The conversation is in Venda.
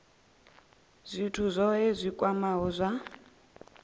zwithu zwohe zwi kwamaho zwa